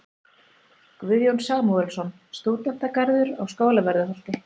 Guðjón Samúelsson: Stúdentagarður á Skólavörðuholti.